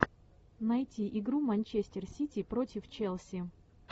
найти игру манчестер сити против челси